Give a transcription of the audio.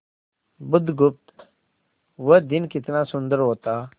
बुधगुप्त वह दिन कितना सुंदर होता